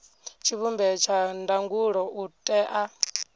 tshivhumbeo tsha ndangulo u tea